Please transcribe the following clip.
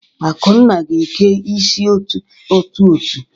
Akunna ga-eke isi otu-otu.